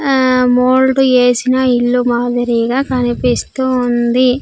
ఆ మోల్డ్ ఏసిన ఇల్లు మాదిరిగా కనిపిస్తూ ఉంది.